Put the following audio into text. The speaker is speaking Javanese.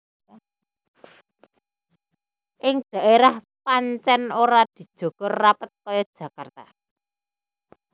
Ing daérah pancèn ora dijaga rapet kaya Jakarta